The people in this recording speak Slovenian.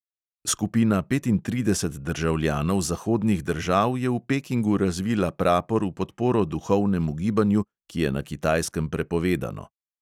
Skupina petintrideset državljanov zahodnih držav je v pekingu razvila prapor v podporo duhovnemu gibanju, ki je na kitajskem prepovedano.